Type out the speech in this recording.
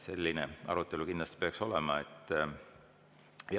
Selline peaks arutelu kindlasti olema.